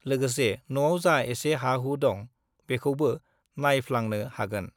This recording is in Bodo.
लोगोसे न'आव जा एसे हा-हु दं, बेखौबो नाइफालांनो हागोन।